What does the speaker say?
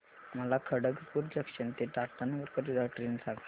मला खडगपुर जंक्शन ते टाटानगर करीता ट्रेन सांगा